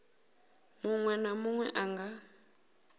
munwe na munwe a nga